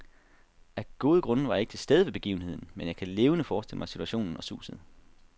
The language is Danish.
Af gode grunde var jeg ikke til stede ved begivenheden, men jeg kan levende forestille mig situationen og suset.